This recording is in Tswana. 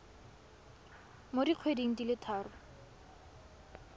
mo dikgweding di le tharo